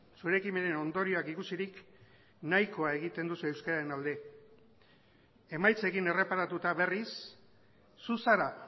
zure ekimenen ondorioak ikusirik nahikoa egiten duzu euskararen alde emaitzekin erreparatuta berriz zu zara